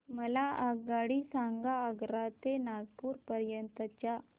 मला आगगाडी सांगा आग्रा ते कानपुर पर्यंत च्या